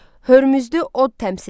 Hörmüzdə od təmsil edir.